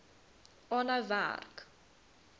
aanhou werk